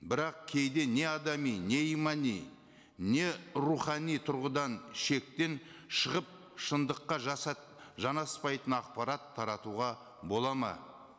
бірақ кейде не адами не имани не рухани тұрғыдан шектен шығып шындыққа жанаспайтын ақпарат таратуға болады ма